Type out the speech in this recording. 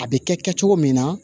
A bɛ kɛ kɛ cogo min na